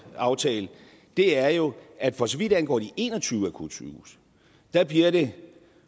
aftale er jo at for så vidt angår de en og tyve akutsygehuse bliver det